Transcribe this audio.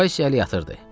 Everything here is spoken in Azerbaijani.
Vays əlli yatırdı.